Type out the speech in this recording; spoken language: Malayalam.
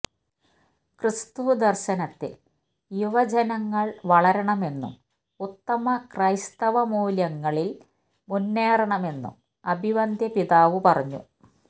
ക്രിസ്തു ദർശനത്തിൽ യുവജനങ്ങൾ വളരണമെന്നും ഉത്തമ ക്രൈസ്തവ മൂല്യങ്ങളിൽ മുന്നേറണമെന്നും അഭിവന്ദ്യ പിതാവ് പറഞ്ഞു